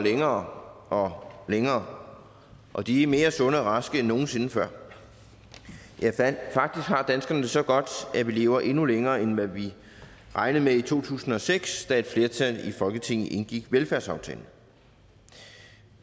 længere og længere og de er mere sunde og raske end nogen sinde før faktisk har danskerne det så godt at vi lever endnu længere end hvad vi regnede med i to tusind og seks da et flertal i folketinget indgik velfærdsaftalen